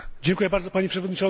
Panie Przewodniczący!